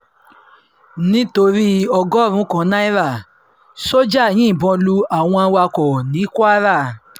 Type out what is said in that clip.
nítorí ọgọ́rùn-ún um kan náírà sójà yìnbọn lu um àwọn awakọ̀ ní kwara